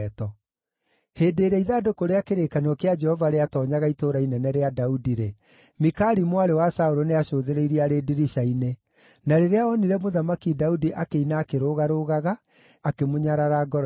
Hĩndĩ ĩrĩa ithandũkũ rĩa kĩrĩkanĩro kĩa Jehova rĩatoonyaga Itũũra Inene rĩa Daudi-rĩ, Mikali mwarĩ wa Saũlũ nĩacũthĩrĩirie arĩ ndirica-inĩ. Na rĩrĩa onire Mũthamaki Daudi akĩina akĩrũgarũgaga, akĩmũnyarara ngoro-inĩ yake.